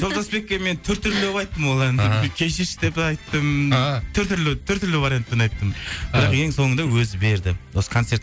жолдасбекке мен түр түрлі қылып айттым кешірші деп айттым вариантпен айттым ең соңында өзі берді осы концерт